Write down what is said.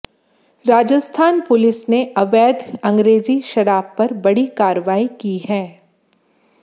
Rajasthan police ने अवैध अंग्रेजी शराब पर बड़ी कार्रवाई की है